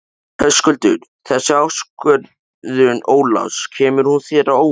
Höskuldur: Þessi ákvörðun Ólafs, kemur hún þér á óvart?